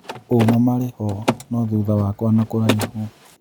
ũmaa marĩho , no-thutha wakwa na kũraihu.